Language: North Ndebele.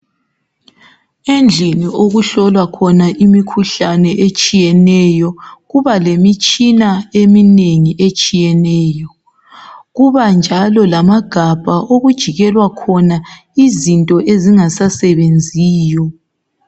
Endlini okuhlolwa khona imikhuhlane etshiyeneyo. kuba lemitshina eminengi etshiyeneyo. Kuba njalo lamagabha okujikelwa khona izinto ezingasasebenziyo.